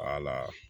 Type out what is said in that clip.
Wala